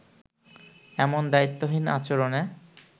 এমন দায়িত্বহীন আচরণে